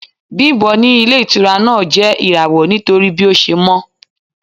Bimbo ní ilé-ìtura náà jẹ́ irawo nítorí bí ó ṣe mọ́.